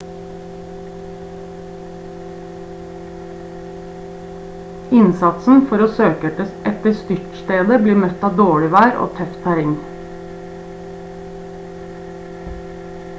innsatsen for å søke etter styrtstedet blir møtt av dårlig vær og tøft terreng